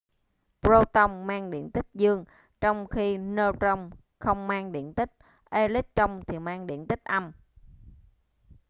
proton mang điện tích dương trong khi neutron không mang điện tích electron thì mang điện tích âm